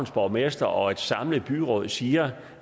borgmester og et samlet byråd siger